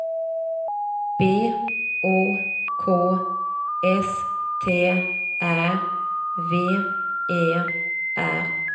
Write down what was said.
B O K S T Ä V E R